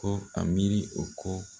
Kɔ a miiri o kɔ